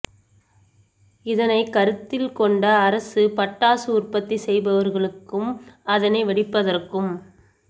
இதனை கருத்தில் கொண்ட அரசு பட்டாசு உற்பத்தி செய்பவர்களுக்கும் அதனை வெடிப்பதற்கும்